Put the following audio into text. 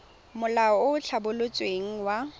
molao o o tlhabolotsweng wa